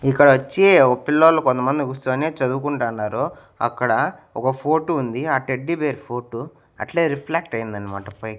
ఇక్కడ ఒచ్చి ఓ పిల్లొల్లు కొంతమంది కూర్చొని చదువుకుంటన్నారు అక్కడ ఒక ఫోటో ఉంది ఆ టెడ్డి బేర్ ఫోటో అట్లే రిఫ్లెక్ట్ అయ్యింది అన్నమాట పైకి.